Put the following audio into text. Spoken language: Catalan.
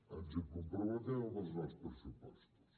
ens hi comprometem amb els nous pressupostos